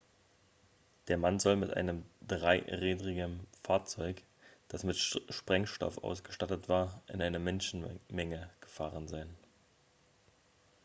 der mann soll mit einem dreirädrigem fahrzeug das mit sprengstoff ausgestattet war in eine menschenmenge gefahren sein